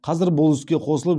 қазір бұл іске қосылып